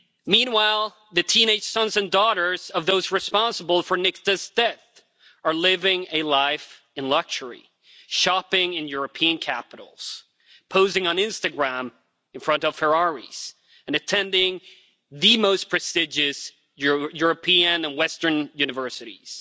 Meanwhile, the teenage sons and daughters of those responsible for Nikta's death are living a life of luxury, shopping in European capitals, posing on Instagram in front of Ferraris and attending the most prestigious European and Western universities.